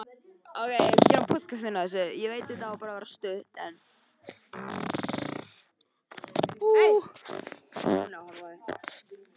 Heilinn og höfuðið er þá minna en eðlilegt getur talist með ýmis konar afleiðingum.